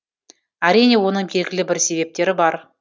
әрине оның белгілі бір себептері бар